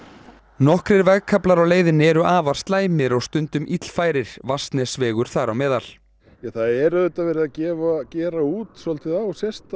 nokkrir vegkaflar á leiðinni eru afar slæmir og stundum illfærir Vatnsnesvegur þar á meðal það er auðvitað verið að gera gera út á